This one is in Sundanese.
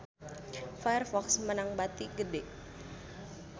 Firefox meunang bati gede